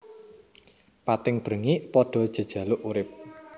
Pating brengik padha jejaluk urip